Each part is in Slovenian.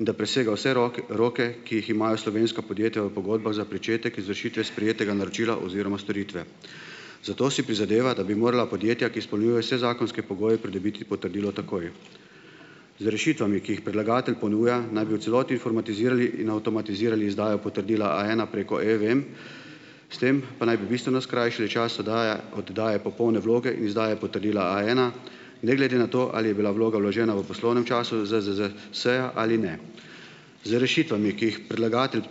in da presega vse roke, ki jih imajo slovenska podjetja v pogodbah za pričetek izvršitve sprejetega naročila oziroma storitve. Zato si prizadeva, da bi morala podjetja, ki izpolnjujejo vse zakonske pogoje, pridobiti potrdilo takoj. Z rešitvami, ki jih predlagatelj ponuja, naj bi v celoti informatizirali in avtomatizirali izdajo potrdila A ena preko eVEM, s tem pa naj bi bistveno skrajšali čas oddaje oddaje popolne vloge in izdaje potrdila A ena, ne glede na to, ali je bila vloga vložena v poslovnem času ZZZS-ja ali ne. Z rešitvami, ki jih predlagatelj,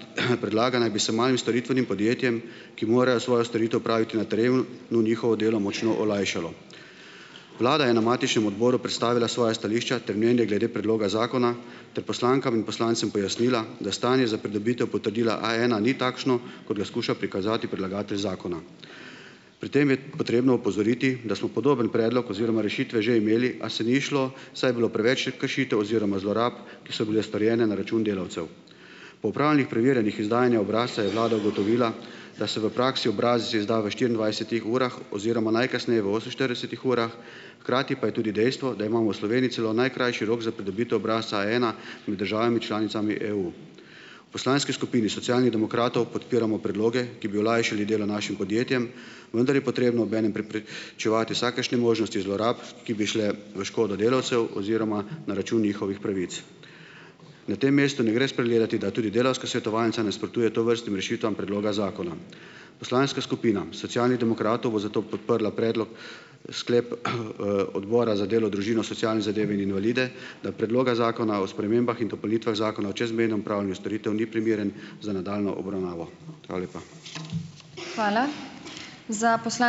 predlaga, naj bi se malim storitvenim podjetjem, ki morajo svojo storitev opraviti na teremu no, njihovo delo močno olajšalo. Vlada je na matičnem odboru predstavila svoja stališča ter mnenje glede predloga zakona ter poslankam in poslancem pojasnila, da stanje za pridobitev potrdila A ena ni takšno, kot ga skuša prikazati predlagatelj zakona. Pri tem je potrebno opozoriti, da smo podoben predlog oziroma rešitve že imeli, a se ni izšlo, saj je bilo preveč kršitev oziroma zlorab, ki so bile storjene na račun delavcev. Po opravljenih preverjanjih izdajanja obrazca je vlada ugotovila, da se v praksi obrazec izda v štiriindvajsetih urah oziroma najkasneje v oseminštiridesetih urah, hkrati pa je tudi dejstvo, da imamo v Sloveniji celo najkrajši rok za pridobitev obrazca A ena med državami članicami EU. V poslanski skupini Socialnih demokratov podpiramo predloge, ki bi olajšali delo našim podjetjem, vendar je potrebno obenem preprečevati vsakršne možnosti zlorab, ki bi šle v škodo delavcev oziroma na račun njihovih pravic. Na tem mestu ne gre spregledati, da tudi Delavska svetovalnica nasprotuje tovrstnim rešitvam predloga zakona. Poslanska skupina Socialnih demokratov bo zato podprla predlog sklepa, Odbora za delo, družino, socialne zadeve in invalide, da Predlog zakona o spremembah in dopolnitvah Zakona o čezmejnem opravljanju storitev ni primeren za nadaljnjo obravnavo. Hvala lepa.